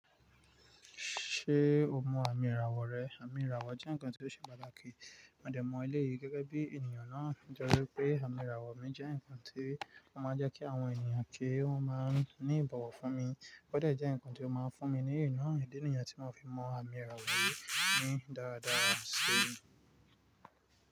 Ṣé o mọ àmì ìràwọ̀ rẹ? Àmì ìràwọ̀ jẹ́ nǹkan tí ó ṣe pàtàkì. Mó de mọ elé yí gẹ́gẹ́ bí ènìyàn náà. Nitoripe àmì ìràwọ̀ mi jẹ́ nǹkan tí ó máa ń jẹ́ kí àwọn ènìyàn kí wọ́n máa ń ní ìbọ̀wọ̀ fún mi. Ó gbọ́dọ̀ jẹ́ nǹkan tí ó máa ń fún mi ní ìná ìdí nìyàn tí wọ́n fi mọ àmì ìràwọ̀ yì ní dáradára sí mi.